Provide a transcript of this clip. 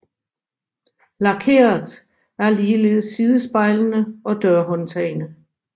Lakeret er ligeledes sidespejlene og dørhåndtagene